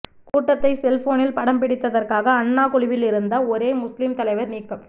கூட்டத்தை செல்போனில் படம் பிடித்ததற்காக அன்னா குழுவில் இருந்த ஒரே முஸ்லிம் தலைவர் நீக்கம்